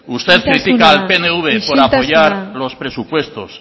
isiltasuna usted critica al pnv por apoyar los presupuestos